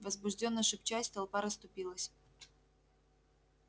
возбуждённо шепчась толпа расступилась